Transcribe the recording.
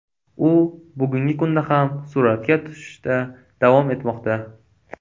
U bugungi kunda ham suratga tushishda davom etmoqda.